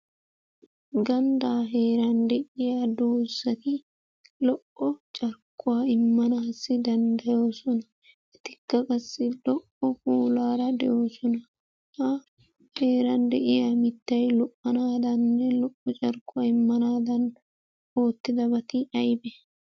Gandaa heeran de'iya doozati lo"o carkkuwa immanaassi danddayoosona. Etikka qassi lo"o puulaara de'oosona. A heeran de'iya mittay lo"anaadaninne lo"o carkkuwa immanaadan oottidabati aybee?